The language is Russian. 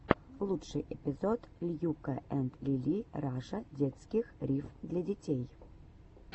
лучший эпизод льюка энд лили раша детских рифм для детей